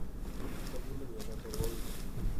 Kesobune myonotok ko wui